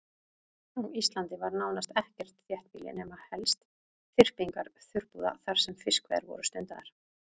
Á Íslandi var nánast ekkert þéttbýli nema helst þyrpingar þurrabúða þar sem fiskveiðar voru stundaðar.